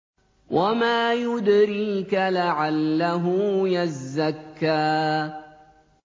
وَمَا يُدْرِيكَ لَعَلَّهُ يَزَّكَّىٰ